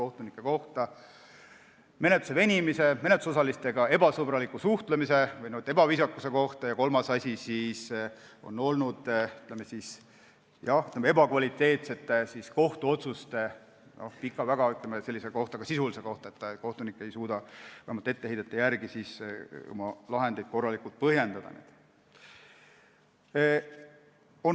Need olid menetluse venimise kohta, menetlusosalistega ebasõbraliku suhtlemise või ebaviisakuse kohta ja kolmas asi oli, ütleme, ebakvaliteetsete kohtuotsuste kohta, sest kohtunik ei suuda, vähemalt etteheidete põhjal otsustades, oma lahendeid korralikult põhjendada.